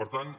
per tant